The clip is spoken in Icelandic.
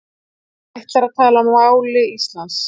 Ætlar að tala máli Íslands